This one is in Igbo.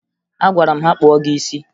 Agwara m ha kpụọ gị isi!